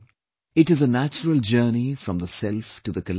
It is a natural journey from the self to the collective